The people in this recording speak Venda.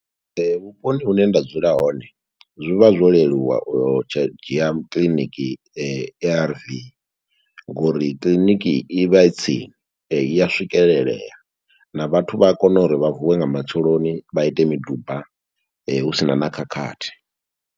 Vhuponi hune nda dzula hone, zwi vha zwo leluwa u tsha dzhia kiḽiniki A_R_V, ngo uri kiḽiniki i vha i tsini, i ya swikelelea, na vhathu vha a kona uri vha vuwe nga matsheloni vha ite miduba husina na khakhathi.